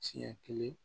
Siɲɛ kelen